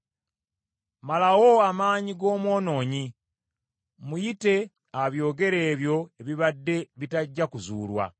Malawo amaanyi g’omwonoonyi, muyite abyogere ebyo ebibadde bitajja kuzuulwa.